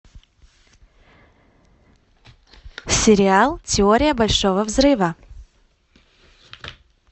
сериал теория большого взрыва